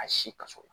A si kaso